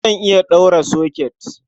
Zan iya ɗaura soket.